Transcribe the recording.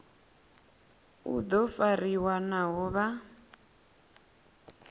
u do fariwa naho vha